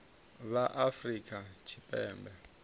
vha afrika tshipembe vhane vha